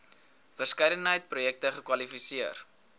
verskeidenheid projekte kwalifiseer